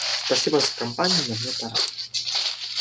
спасибо за компанию но мне пора